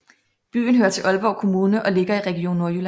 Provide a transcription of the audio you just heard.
Byen hører til Aalborg Kommune og ligger i Region Nordjylland